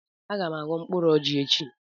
Aga m aghọ mkpụrụ ọjị echi